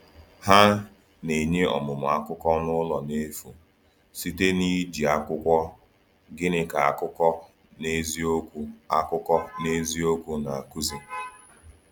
Ha na-enye ọmụmụ akụkọ n’ụlọ n’efu, site n’iji akwụkwọ *Gịnị Ka Akụkọ N’eziokwu Akụkọ N’eziokwu Na-akụzi?*